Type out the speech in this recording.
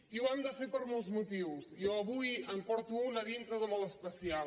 i ho hem de fer per molts motius jo avui en porto un a dintre de molt especial